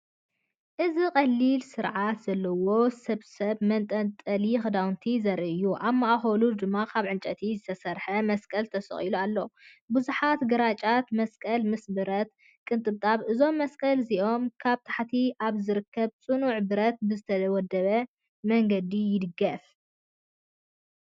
እዚ ቀሊልን ስርዓት ዘለዎን ስብስብ መንጠልጠሊ ክዳውንቲ ዘርኢ እዩ። ኣብ ማእከል ድማ ካብ ዕንጨይቲ ዝተሰርሐ መስቀል ተሰቒሉ ኣሎ፡ ብዙሓት ግራጭ መስቀላት ምስ ብረት ቅንጥብጣብ። እዞም መስቀላት እዚኣቶም ኣብ ታሕቲ ኣብ ዝርከብ ጽኑዕ ብረት ብዝተወደበ መንገዲ ይድገፉ።